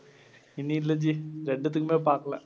இன்னும் இல்ல ஜி. ரெண்டுத்துக்குமே பாக்கலை.